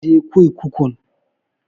Kar ka je kurkukun!